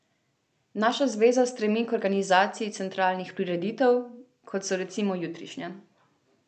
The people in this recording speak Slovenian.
Naša zveza stremi k organizaciji centralnih prireditev, kot bo recimo jutrišnja.